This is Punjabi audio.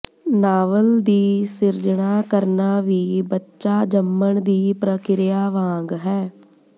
ਨਾਵਲ ਦੀ ਸਿਰਜਣਾ ਕਰਨਾ ਵੀ ਬੱਚਾ ਜੰਮਣ ਦੀ ਪ੍ਰਕਿਰਿਆ ਵਾਂਗ ਹੈ